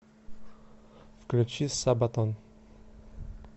включи сабатон